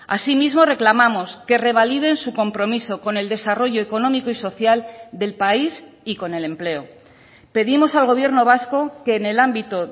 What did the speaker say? así mismo reclamamos que revaliden su compromiso con el desarrollo económico y social del país y con el empleo pedimos al gobierno vasco que en el ámbito